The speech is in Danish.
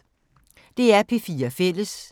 DR P4 Fælles